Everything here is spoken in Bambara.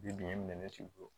Bi bi in minɛ ne t'i bolo